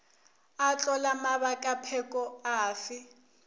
a tlola mabakapheko a fe